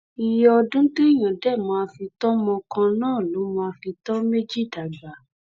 iye ọdún téèyàn dé máa fi tọ ọmọ kan náà ló máa fi tọ́ méjì dàgbà